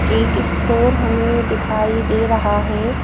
एक स्टोर हमें दिखाई दे रहा है।